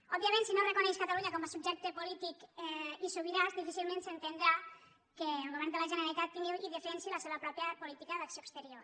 òbviament si no reconeix catalunya com a subjecte polític i sobirà difícilment s’entendrà que el govern de la generalitat tingui i defensi la seva pròpia política d’acció exterior